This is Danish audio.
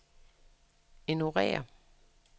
ignorér